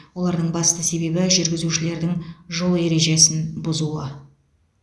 олардың басты себебі жүргізушілердің жол ережесін бұзуы